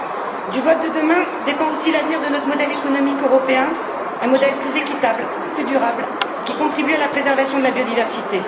C'est du vote de demain que dépend aussi l'avenir de notre modèle économique européen, un modèle plus équitable, plus durable, qui contribue à la préservation de la biodiversité.